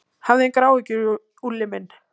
Hafðu engar áhyggjur, Úlli minn.